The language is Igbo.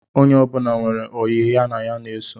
Onye ọbụla nwere oyi ya ọ na-eso